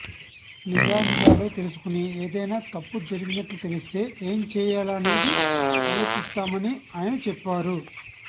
నిజానిజాలు తెలుసుకుని ఏదైనా తప్పు జరిగినట్లు తెలిస్తే ఏం చేయాలనేది అలోచిస్తామని ఆయన చెప్పారు